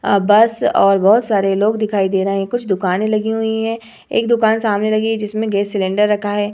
आ bus और बहोत सारे लोग दिखाई दे रहे हैं। कुछ दुकाने लगी हुई हैं। एक दुकान सामने लगी है जिसमें गैस सिलेंडर रखा है।